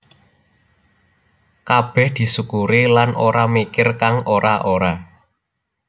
Kabeh disukuri lan ora mikir kang ora ora